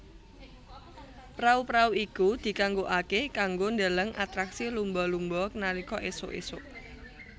Prau prau iku dikanggokake kanggo ndheleng atraksi lumba lumba nalika esuk esuk